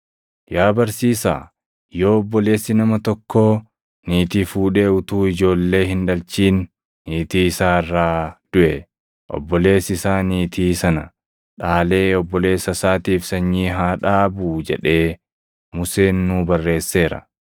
“Yaa barsiisaa yoo obboleessi nama tokkoo niitii fuudhee utuu ijoollee hin dhalchin niitii isaa irraa duʼe, obboleessi isaa niitii sana dhaalee obboleessa isaatiif sanyii haa dhaabuu jedhee Museen nuu barreesseera.